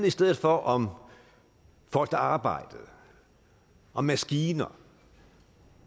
i stedet for om folk der arbejdede om maskiner